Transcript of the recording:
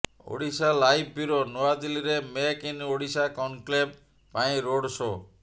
Odisha live bureau ନୂଆଦିଲ୍ଲୀରେ make in Odisha conclave ପାଇଁ road show